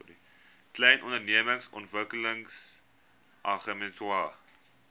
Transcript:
klein ondernemings ontwikkelingsagentskap